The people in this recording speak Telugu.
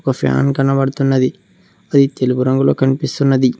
ఒక ఫ్యాన్ కనపడుతున్నది అది తెలుపు రంగులో కనిపిస్తున్నది.